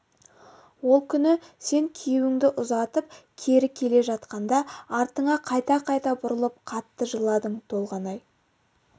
ол күні сен күйеуіңді ұзатып кері келе жатқанда артыңа қайта-қайта бұрылып қатты жыладың толғанай